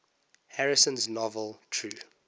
harrison's novel true